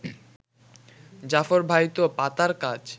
জাফর ভাই তো পাতার কাজ